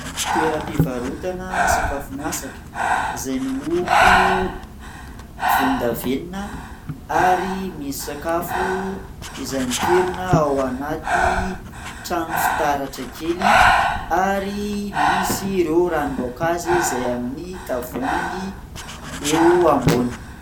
Toeram-pivarotana sakafo masaka izay miloko volondavenona ary misy sakafo izay mipirina ao anaty trano fitaratra kely ary misy ireo ranom-boankazo izay amin'ny tavoahangy eo amboniny.